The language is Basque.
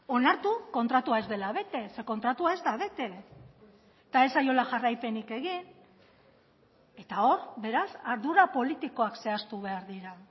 onartu kontratua ez dela bete ze kontratua ez da bete eta ez zaiola jarraipenik egin eta hor beraz ardura politikoak zehaztu behar dira